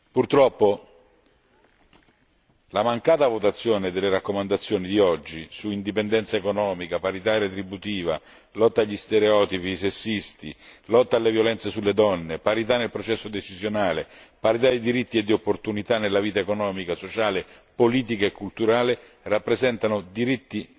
Purtroppo, la mancata votazione delle raccomandazioni di oggi su indipendenza economica, parità retributiva, lotta agli stereotipi sessisti, lotta alle violenze sulle donne, parità nel processo decisionale, parità dei diritti e di opportunità nella vita economica, sociale, politica e culturale, rappresentano diritti